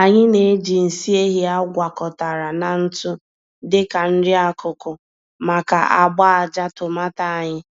Anyị na-eji nsị ehi a gwakọtara na ntụ dị ka nri-akụkụ maka agba-ájá tomato anyị.